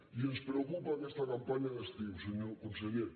i ens preocupa aquesta campanya d’estiu senyor conseller